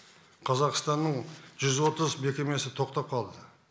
қазақстанның жүз отыз мекемесі тоқтап қалды